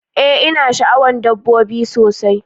Ee ina sha'awan dabbobi sosai